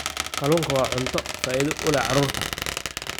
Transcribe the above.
Kalluunku waa cunto faa'iido u leh carruurta.